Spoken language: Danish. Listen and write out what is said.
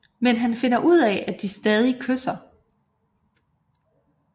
Men han finder ud af at de stadig kysser